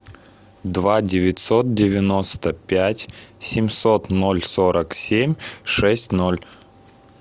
два девятьсот девяносто пять семьсот ноль сорок семь шесть ноль